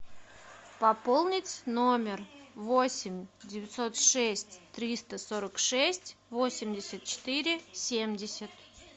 пополнить номер восемь девятьсот шесть триста сорок шесть восемьдесят четыре семьдесят